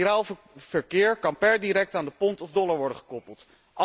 Giraal verkeer kan per direct aan de pond of dollar worden gekoppeld.